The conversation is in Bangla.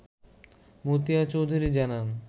মতিয়া চৌধুরী জানান